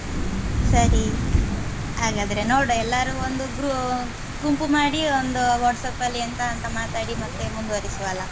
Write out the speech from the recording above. ಹ್ಮ್‌ ಸರಿ ಹಾಗಾದ್ರೆ ನೋಡ್ವ ಎಲ್ಲರೂ ಒಂದು gru~ ಗುಂಪು ಮಾಡಿ ಒಂದು WhatsApp ಲ್ಲಿ ಎಂತ ಅಂತ ಮಾತಾಡಿ ಮತ್ತೆ ಮುಂದುವರಿಸುವ ಅಲ್ಲ.